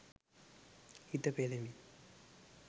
හිත පෙළෙමින්